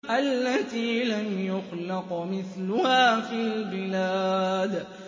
الَّتِي لَمْ يُخْلَقْ مِثْلُهَا فِي الْبِلَادِ